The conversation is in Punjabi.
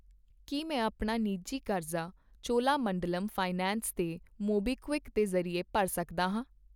ਕੀ ਮੈਂ ਆਪਣਾ ਨਿੱਜੀ ਕਰਜ਼ਾ ਚੋਲਾਮੰਡਲਮ ਫਾਈਨੈਂਸ ਤੇ ਮੋਬੀਕਵਿਕ ਦੇ ਜ਼ਰੀਏ ਭਰ ਸਕਦਾ ਹਾਂ ?